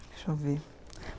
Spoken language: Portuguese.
Deixa eu ver.